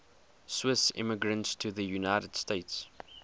swiss immigrants to the united states